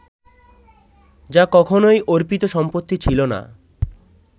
যা কখনোই অর্পিত সম্পত্তি ছিল না